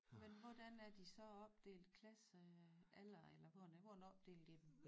Men hvordan er de så opdelt klasse alder eller hvordan hvordan opdelte I dem